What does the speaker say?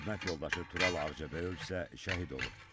Xidmət yoldaşı Tural Ağcabəyov isə şəhid olub.